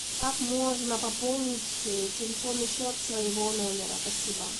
как можно пополнить телефонный счет своего номера спасибо